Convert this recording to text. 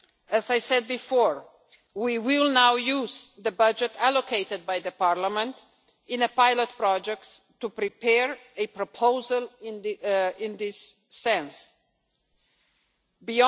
As I said before, we will now use the budget allocated by Parliament in pilot projects to prepare a proposal going in this direction.